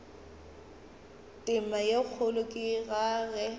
tema ye kgolo ka ge